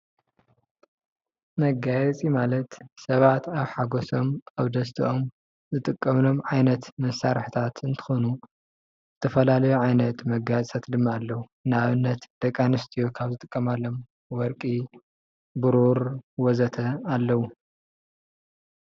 መጋየፂ ማለት ሰባት ኣብ ሓጎሶም ኣብ ደስቶም ዝጥቀምሎም ዓይነት መሳሪሒታት እትኮኑ ዝተፈላለዩ ዓይነታት መጋየፅታት ድማ ኣለው። ንኣብነት፦ ደቂ ኣንስትዮ ካብ ዝጥቀማሎም ወርቂ ፣ብሩር ወዘተ ኣለው።